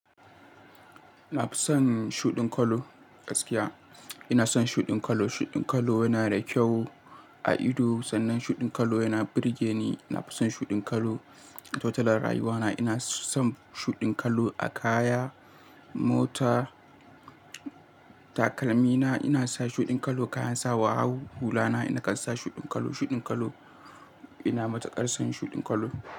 Na fi son shuɗin kallo gaskiya. Ina son shuɗin kallo. Shuɗin kallo yana da kyau a ido, sannan shuɗin kallo yana burge ni. Na fi son shuɗin kallo totali a rayuwana. Ina son shuɗin kallo a kaya, mota, takalmina. Ina sa shuɗin kallo kayan sawa, hulana ina kan sa shuɗin kallo. Shuɗin kallo ina matuƙar son shuɗin kallo.